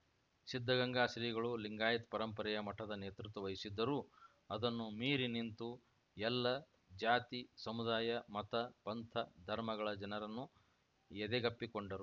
ಸಿದ್ಧಗಂಗಾ ಶ್ರೀಗಳು ಲಿಂಗಾಯತ್ ಪರಂಪರೆಯ ಮಠದ ನೇತೃತ್ವ ವಹಿಸಿದ್ದರೂ ಅದನ್ನು ಮೀರಿನಿಂತು ಎಲ್ಲ ಜಾತಿ ಸಮುದಾಯ ಮತ ಪಂಥ ಧರ್ಮಗಳ ಜನರನ್ನು ಎದೆಗಪ್ಪಿಕೊಂಡರು